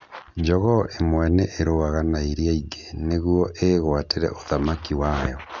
Njogoo ĩmwe nĩ ĩrũaga na iria ingĩ nĩguo ĩgũatĩre ũthamaki wayo.